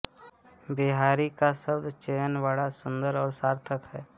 बिहारी का शब्द चयन बड़ा सुंदर और सार्थक है